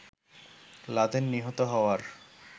Laden নিহত হওয়ার